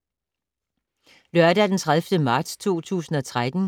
Lørdag d. 30. marts 2013